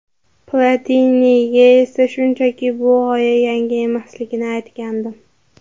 Platiniga esa shunchaki bu g‘oya yangi emasligini aytgandim”.